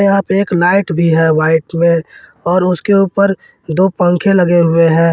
यहां पे एक लाइट भी है वाइट में और उसके ऊपर दो पंखे लगे हुए हैं।